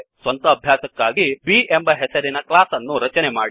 ಸ್ವಂತ ಅಭ್ಯಾಸಕ್ಕಾಗಿ B ಎಂಬ ಹೆಸರಿನ ಕ್ಲಾಸ್ ಅನ್ನು ರಚನೆ ಮಾಡಿ